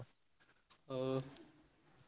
ହଉ।